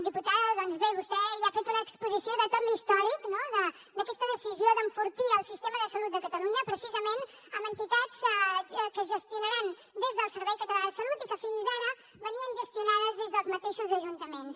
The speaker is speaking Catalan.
diputada doncs bé vostè ja ha fet una exposició de tot l’històric no d’aquesta decisió d’enfortir el sistema de salut de catalunya precisament amb entitats que es gestionaran des del servei català de salut i que fins ara es gestionaven des dels mateixos ajuntaments